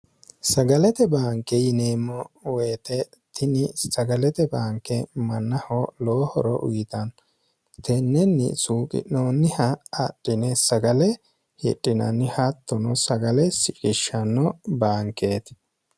sagalete baanke yineemmo woyite tini sagalete baanke mannaho lowohoro uyitanno tennenni suuqi'noonniha adhine sagale hidhinanni haattono sagale siqishshanno baankeeti